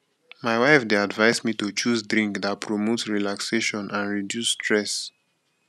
my wife dey advise me to choose drink that promote relaxation and reduce stress